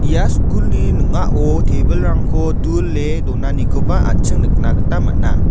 ia skulni ning·ao tebilrangko dule donanikoba an·ching nikna gita man·a.